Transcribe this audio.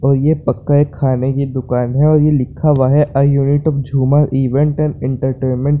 ओहिए पके हेय खाने की दुकान है और ये लिखा हुआ है a unit of Jhoomar event entertainment.